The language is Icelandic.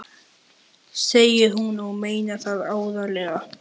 segir hún og meinar það áreiðanlega.